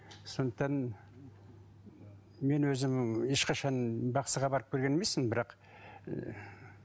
сондықтан мен өзім ешқашан бақсыға барып көрген емеспін бірақ